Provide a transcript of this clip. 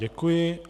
Děkuji.